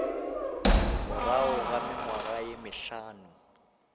morago ga mengwaga ye mehlano